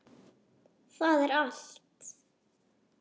Það er allt.